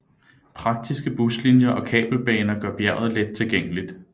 Praktiske buslinier og kabelbaner gør bjerget let tilgængeligt